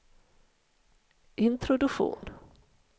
introduktion